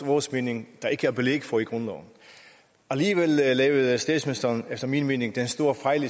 vores mening ikke er belæg for i grundloven alligevel lavede statsministeren efter min mening den store fejl